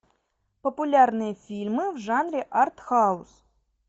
популярные фильмы в жанре арт хаус